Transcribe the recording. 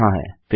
यह यहाँ है